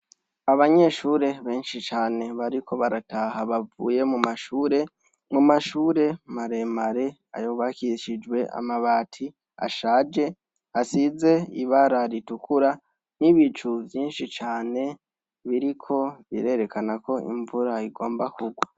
Abanyeshure benshi cane bariko barataha bavuye mu mashure, mu mashure maremare yubakishijwe amabati ashaje asize ibara ritukura n'ibicu vyinshi cane biriko birerekana ko imvura igomba kugwa.